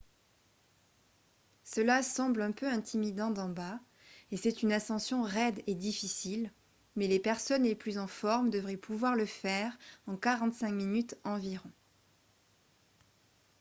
cela semble un peu intimidant d'en bas et c'est une ascension raide et difficile mais les personnes les plus en forme devraient pouvoir le faire en 45 minutes environ